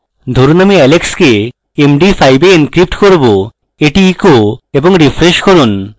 ধরুন আমি alex কে md5 এ encrypt করব এটি echo এবং refresh করুন